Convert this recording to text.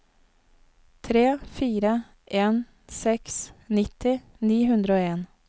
tre fire en seks nitti ni hundre og en